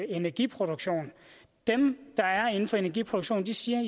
energiproduktion dem der er inden for energiproduktion siger